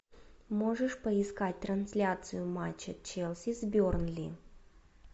можешь поискать трансляцию матча челси с бернли